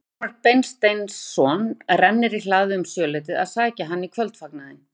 Guttormur Beinteinsson rennir í hlaðið um sjöleytið að sækja hann í kvöldfagnaðinn.